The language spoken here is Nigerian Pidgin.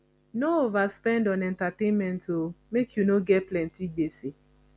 no overspend on entertainment o make you no get plenty gbese